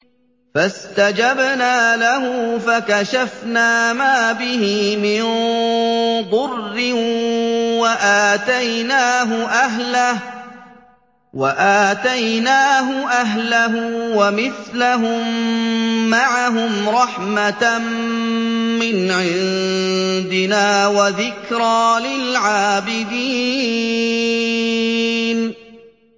فَاسْتَجَبْنَا لَهُ فَكَشَفْنَا مَا بِهِ مِن ضُرٍّ ۖ وَآتَيْنَاهُ أَهْلَهُ وَمِثْلَهُم مَّعَهُمْ رَحْمَةً مِّنْ عِندِنَا وَذِكْرَىٰ لِلْعَابِدِينَ